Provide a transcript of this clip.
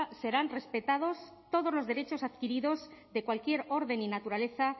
serán respetados todos los derechos adquiridos de cualquier orden y naturaleza